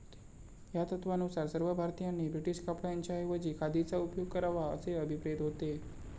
या तत्वानुसार सर्व भारतीयांनी ब्रिटीश कपड्यांच्या ऐवजी खादीचा उपयोग करावा असे अभिप्रेत होते.